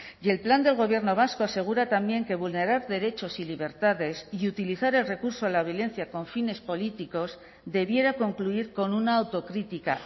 y el plan del gobierno vasco asegura también que vulnerar derechos y libertades y utilizar el recurso de la violencia con fines políticos debiera concluir con una autocrítica